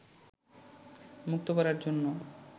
মুক্ত করার জন্য